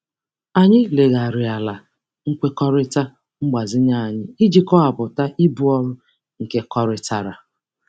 Anyị legharịala nkwekọrịta mgbazinye anyị iji kọwapụta ibu ọrụ nkekọrịtara.